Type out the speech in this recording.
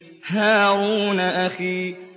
هَارُونَ أَخِي